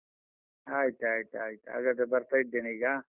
ಆಯ್ತಾಯ್ತು ಆಯ್ತು. ಹಾಗಾದ್ರೆ ಬರ್ತಾ ಇದ್ದೇನೆ ಈಗ.